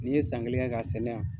N'i ye san kelen kɛ ka sɛnɛ yan